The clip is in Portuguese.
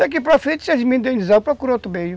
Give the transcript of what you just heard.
Daqui para frente, se eles me indenizarem, eu procuro outro meio.